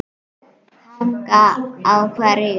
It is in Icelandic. Hanga á hverju?